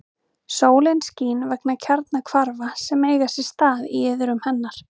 Sólin skín vegna kjarnahvarfa sem eiga sér stað í iðrum hennar.